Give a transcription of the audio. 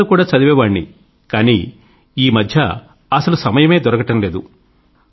పుస్తకాలు కూడా చదివేవాణ్ణి కానీ ఈ మధ్య అసలు సమయమే దొరకడం లేదు